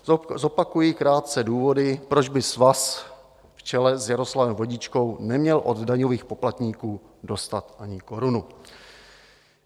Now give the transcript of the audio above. Zopakuji krátce důvody, proč by svaz v čele s Jaroslavem Vodičkou neměl od daňových poplatníků dostat ani korunu.